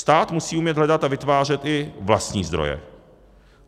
Stát musí umět hledat a vytvářet i vlastní zdroje.